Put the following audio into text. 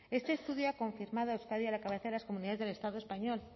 este estudio ha confirmado a euskadi a la cabeza de las comunidades del estado español